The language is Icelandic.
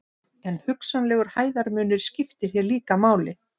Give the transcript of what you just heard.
en hugsanlegur hæðarmunur skiptir hér líka máli